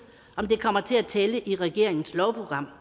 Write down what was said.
om det kommer til at tælle i regeringens lovprogram